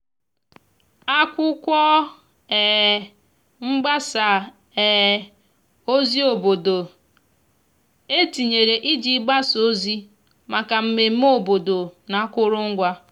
akwụkwo um mgbasa um ozi obodo e tinyere iji gbasa ozi maka mmeme obodo n'akụrụngwa